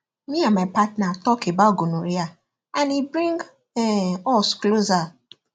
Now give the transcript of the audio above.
me and my partner talk about gonorrhea and e bring um us closer